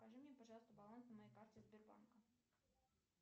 скажи мне пожалуйста баланс на моей карте сбербанка